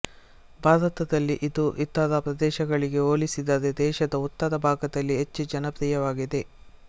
ಭಾರತದಲ್ಲಿ ಇದು ಇತರ ಪ್ರದೇಶಗಳಿಗೆ ಹೋಲಿಸಿದರೆ ದೇಶದ ಉತ್ತರ ಭಾಗದಲ್ಲಿ ಹೆಚ್ಚು ಜನಪ್ರಿಯವಾಗಿದೆ